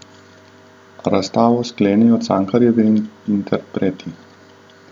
Razstavo sklenejo Cankarjevi interpreti.